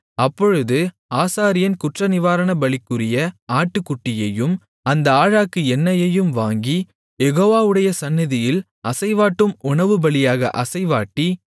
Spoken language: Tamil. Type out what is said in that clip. அப்பொழுது ஆசாரியன் குற்றநிவாரணபலிக்குரிய ஆட்டுக்குட்டியையும் அந்த ஆழாக்கு எண்ணெயையும் வாங்கி யெகோவாவுடைய சந்நிதியில் அசைவாட்டும் உணவுபலியாக அசைவாட்டி